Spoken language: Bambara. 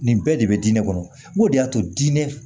Nin bɛɛ de bɛ diinɛ kɔnɔ o de y'a to diinɛ